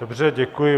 Dobře, děkuji.